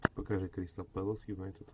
покажи кристал пэлас юнайтед